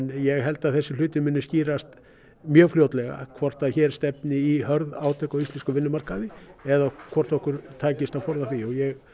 ég held að þessir hlutir muni skýrast mjög fljótlega hvort hér stefni í hörð átök á íslenskum vinnumarkaði eða hvort okkur takist að forða því og ég